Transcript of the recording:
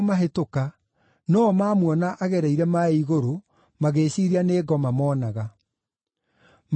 no-o mamuona agereire maaĩ igũrũ magĩĩciiria nĩ ngoma moonaga. Magĩkaya